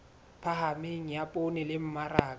phahameng ya poone le mmaraka